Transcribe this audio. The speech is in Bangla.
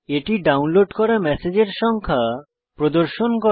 এটি ডাউনলোড করা ম্যসেজের সংখ্যা প্রদর্শন হয়